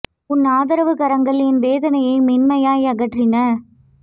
உன் ஆதரவுக்கரங்கள் என் வேதனையை மென்மையாய் அகற்றின